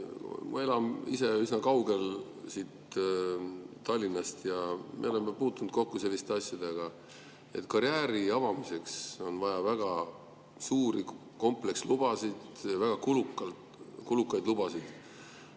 Ma elan ise üsna kaugel Tallinnast ja me oleme puutunud kokku selliste asjadega, et karjääri avamiseks on vaja väga kulukaid komplekslubasid.